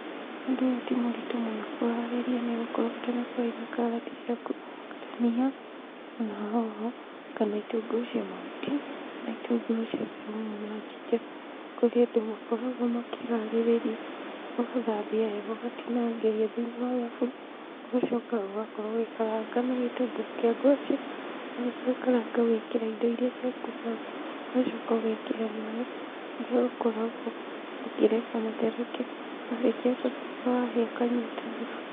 Ũndũ ũyũ ti mũritũ mũno kũharĩrĩa nĩ gũkorwo bata nĩ ũkorwo wĩ na karati ciaku, ndania ona hoho kana itũngũrũ cia mahuti, na itũngũrũ cia caumu na njinja. Kũrĩ andũ makoragwo makĩharĩrĩria ũgathambia wega ũgatinangĩria thĩiniĩ wa thaburia, ũgacoka ũgakorwo ũgĩkaranga na gĩtũngũrũ kĩa ngwaci, warĩkia gũkaranga ũgekĩra indo irĩa ciaku hau, ũgacoka ũgekĩra maĩ kũrĩa ũkoragwo ũkĩreka matherũke, marĩkia gũtherũka wahĩa ũkanyua ta thubu.